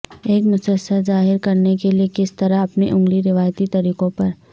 ایک مسسا ظاہر کرنے کے لئے کس طرح اپنی انگلی روایتی طریقوں پر